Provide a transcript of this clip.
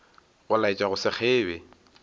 go laetša go se kgebe